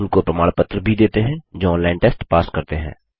उनको प्रमाण पत्र भी देते हैं जो ऑनलाइन टेस्ट पास करते हैं